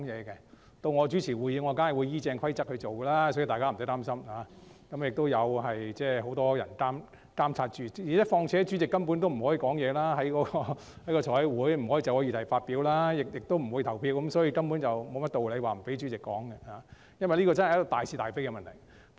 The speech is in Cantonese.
當由我主持會議時，我必定會依照規則辦事，所以大家不用擔心，而且也有很多人在監察，況且財務委員會主席在委員會會議上根本不可以就議題發表意見，亦不會投票，所以根本沒有道理不讓主席說話，這真的是大是大非的問題。